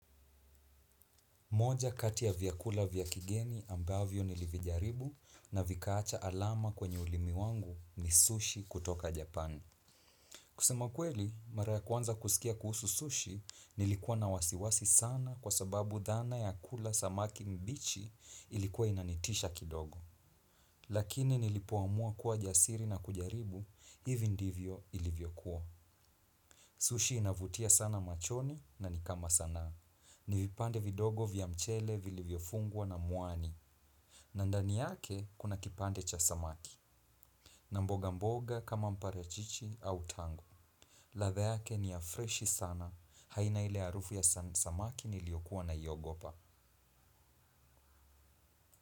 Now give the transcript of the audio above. Moja kati ya vyakula vya kigeni ambavyo nilivijaribu na vikaacha alama kwenye ulimi wangu ni sushi kutoka Japan. Kusema kweli, mara ya kwanza kusikia kuhusu sushi nilikuwa na wasiwasi sana kwa sababu dhana ya kula samaki mbichi ilikuwa inanitisha kidogo. Lakini nilipoamua kuwa jasiri na kujaribu, hivi ndivyo ilivyokuwa. Sushi inavutia sana machone na nikama sana. Ni vipande vidogo vya mchele vilivyofungwa na mwani. Na ndani yake kuna kipande cha samaki. Na mboga mboga kama mparachichi au tangu ladha yake ni ya freshi sana. Haina ile harufu ya samaki niliyokuwa naiogopa.